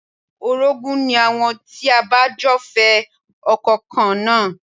Orogún ni àwọn tí ẹ bá jọ fẹ́ ọkọ kan náà